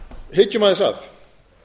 hyggjum aðeins að